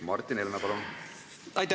Martin Helme, palun!